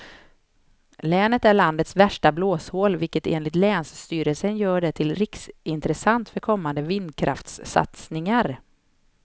Länet är landets värsta blåshål vilket enligt länsstyrelsen gör det till riksintressant för kommande vindkraftssatsningar.